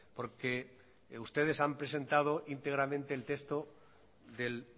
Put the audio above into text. porque ustedes han presentado íntegramente el texto del